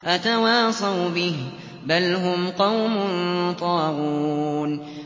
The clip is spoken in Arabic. أَتَوَاصَوْا بِهِ ۚ بَلْ هُمْ قَوْمٌ طَاغُونَ